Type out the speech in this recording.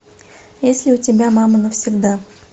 есть ли у тебя мама навсегда